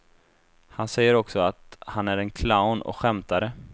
Han säger också att han är en clown och skämtare.